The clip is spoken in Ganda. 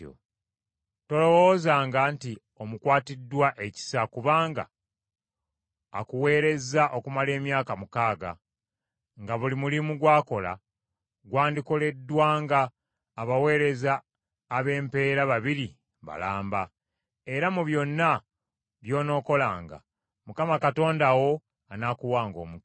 Tolowoozanga nti omukwatiddwa ekisa kubanga akuweerezza okumala emyaka mukaaga, nga buli mulimu gw’akola gwandikoleddwanga abaweereza ab’empeera babiri balamba. Era mu byonna by’onookolanga, Mukama Katonda wo anaakuwanga omukisa.